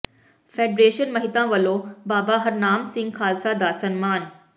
federation Mehta ਵਲੋਂ ਬਾਬਾ ਹਰਨਾਮ ਸਿੰਘ ਖਾਲਸਾ ਦਾ ਸਨਮਾਨ